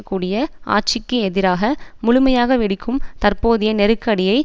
கூடிய ஆட்சிக்கு எதிராக முழுமையாக வெடிக்கும் தற்போதைய நெருக்கடியை